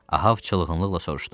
Ahəv çılğınlıqla soruşdu.